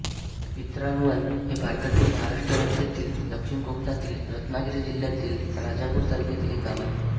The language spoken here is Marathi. प्रिंद्रावण हे भारतातील महाराष्ट्र राज्यातील दक्षिण कोकणातील रत्नागिरी जिल्ह्यातील राजापूर तालुक्यातील एक गाव आहे